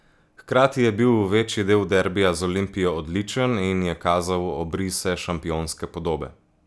Hkrati je bil večji del derbija z Olimpijo odličen in je kazal obrise šampionske podobe.